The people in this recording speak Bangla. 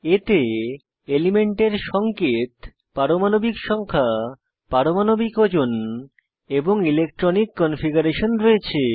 এতে এলিমেন্টের সঙ্কেত পারমাণবিক সংখ্যা পারমাণবিক ওজন এবং ইলেক্ট্রনিক কনফিগারেশন রয়েছে